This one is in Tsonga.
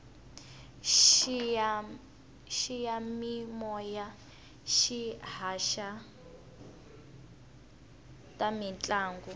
xiyamimoya xi haxa ta mintlangu